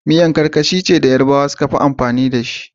miya karkashi ce da Yarabawa sukafi anfani da shi